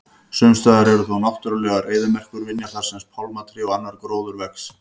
Sumstaðar eru þó náttúrulegar eyðimerkurvinjar þar sem pálmatré og annar gróður vex.